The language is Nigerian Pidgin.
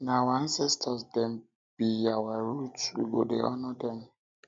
na our ancestor dem be dem be our root we go dey honour dem